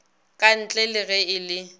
kantle le ge e le